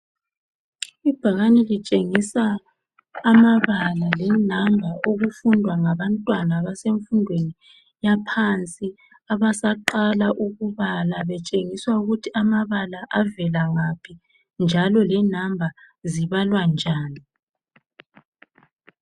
Ibhakani litshengisa amabala le number okufundwa ngabantwana abasemfundweni yaphansi abasaqala ukubala betshengiswa ukuthi amabala avelangaphi njalo le number zibalwa njani